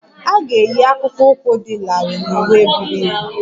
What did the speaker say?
A ga-eyi akpụkpọ ụkwụ dị larịị na uwe buru ibu